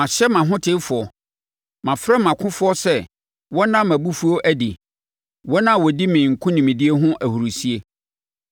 Mahyɛ mʼahotefoɔ; mafrɛ mʼakofoɔ sɛ wɔnna mʼabufuhyeɛ adi, wɔn a wɔdi me nkonimdie ho ahurisie.